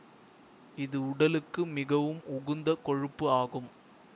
இது உடலுக்கு மிகவும் உகுந்த கொழுப்பு ஆகும்